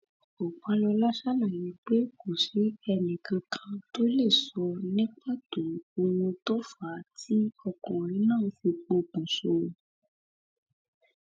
ọpàlọla ṣàlàyé pé kò sí ẹnìkankan tó lè sọ ní pàtó ohun tó fà á tí ọkùnrin náà fi pokùnso